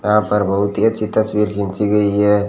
यहां पर बहुत ही अच्छी तस्वीर खींची गई है।